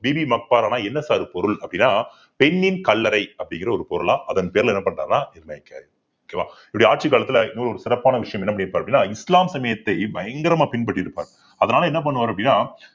பிபிகா மக்பாரா என்ன sir பொருள் அப்படின்னா பெண்ணின் கல்லறை அப்படிங்கிற ஒரு பொருளா அதன் பேருல என்ன okay வா அவருடைய ஆட்சி காலத்துல இன்னொரு சிறப்பான விஷயம் என்ன பண்ணிருப்பார் அப்படின்னா இஸ்லாம் சமயத்தை பயங்கரமா பின்பற்றியிருப்பார் அதனால என்ன பண்ணுவார் அப்படின்னா